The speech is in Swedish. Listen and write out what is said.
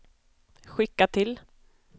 skicka till